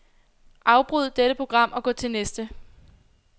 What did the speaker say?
Afbryd dette program og gå til næste.